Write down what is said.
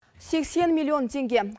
сексен миллион теңге